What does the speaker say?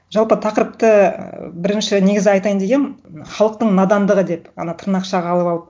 жалпы тақырыпты ы бірінші негізі айтайын дегенмін халықтың надандығы деп ана тырнықшаға алып алып